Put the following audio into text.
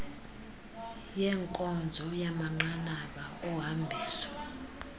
yenkonzo yamanqanaba ohambiso